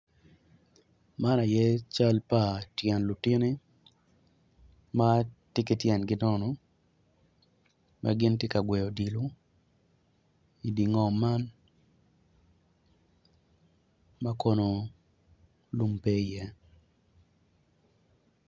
Mon man gitye ka wot dok mon man gitye gin adek kun gin weng guruko kala bongo mapadipadi kun ngat acel tye ma otingo latin i cinge kun ngat ma i dyere-ni oruko bongo ma bulu.